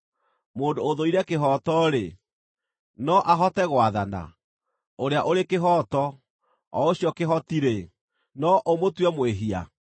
Mũndũ ũthũire kĩhooto-rĩ, no ahote gwathana? Ũrĩa ũrĩ kĩhooto, o Ũcio kĩhoti-rĩ, no ũmũtue mwĩhia?